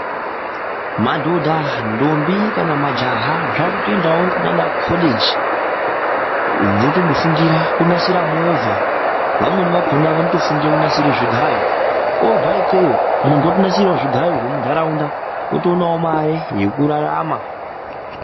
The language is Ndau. Madhodha ndombi kana majaha vakutoendawo kunana coleji votondofundira kunasira movha vamweni vakona vanofundira kunasira zvigayo vobva ikweyo muntu otonasirawo zvigayo zvemundaraunda otoonawo mare yekurarama.